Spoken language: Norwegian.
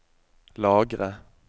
lagre